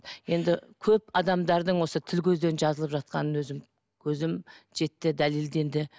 енді көп адамдардың осы тіл көзден жазылып жатқанын өзім көзім жетті дәлелденді